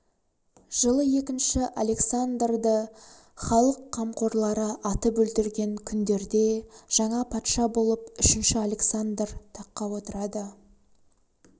жылы екінші александрды халық қамқорлары атып өлтірген күндерде жаңа патша болып үшінші александр таққа отырады